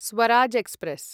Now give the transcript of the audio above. Swaraj express